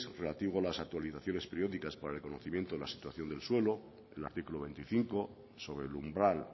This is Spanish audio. relativo a las actualizaciones periódicas para el conocimiento de la situación del suelo el artículo veinticinco sobre el umbral